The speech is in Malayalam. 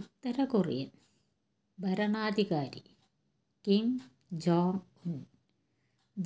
ഉത്തരകൊറിയൻ ഭരണാധികാരി കിം ജോങ് ഉൻ